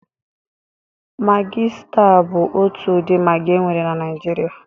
Magị staa bụ otu ụdị magị e nwere na Naịjirịa.